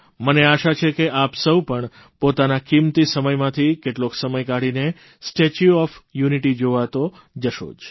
મને આશા છે કે આપ સૌ પણ પોતાના કિંમતી સમયમાંથી કેટલોક સમય કાઢીને સ્ટેચ્યુ ઓફ યુનિટી જોવા તો જશો જ